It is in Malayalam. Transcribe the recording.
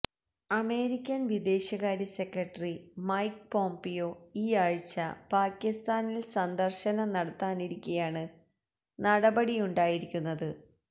അമേരിക്കന് വിദേശകാര്യ സെക്രട്ടറി മൈക്ക് പോംപിയോ ഈയാഴ്ച പാക്കിസ്ഥാനില് സന്ദര്ശനം നടത്താനിരിക്കെയാണ് നടപടിയുണ്ടായിരിക്കുന്നത്